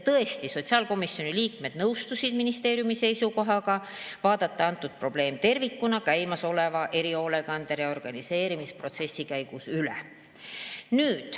Tõesti, sotsiaalkomisjoni liikmed nõustusid ministeeriumi seisukohaga vaadata antud probleem tervikuna käimasoleva erihoolekande reorganiseerimisprotsessi käigus üle.